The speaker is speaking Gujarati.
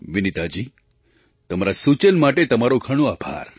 વિનિતાજી તમારા સૂચન માટે તમારો ઘણો આભાર